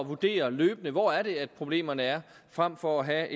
vurdere løbende hvor det er problemerne er frem for at have